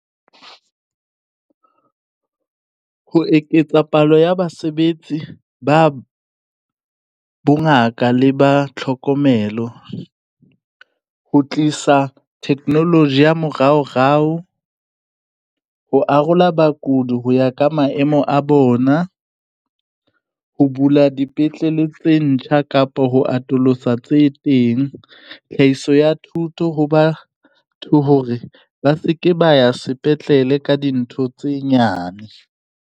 Ho eketsa palo ya basebetsi ba bongaka le ba tlhokomelo ho tlisa technology ya moraorao ho arola bakudi ho ya ka maemo a bona. Ho bula dipetlele tse ntjha kapo ho atolosa tse teng tlhahiso ya thuto ho batho hore ba se ke ba ya sepetlele ka dintho tse nyane.